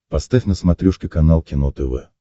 поставь на смотрешке канал кино тв